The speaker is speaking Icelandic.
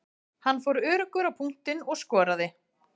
Hann fór öruggur á punktinn og skoraði.